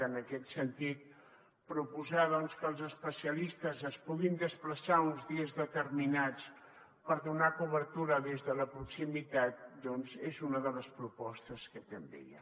en aquest sentit proposar que els especialistes es puguin desplaçar uns dies determinats per donar cobertura des de la proximitat doncs és una de les propostes que també hi ha